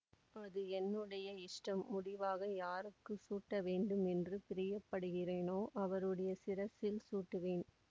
அது என்னுடைய இஷ்டம் முடிவாக யாருக்கு சூட்ட வேண்டுமென்று பிரியப்படுகிறேனோ அவருடைய சிரசில் சூட்டுவேன்